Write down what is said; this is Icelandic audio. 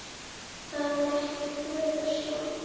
Það er ekki fögur sjón.